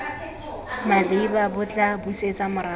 maleba bo tla busetsa morago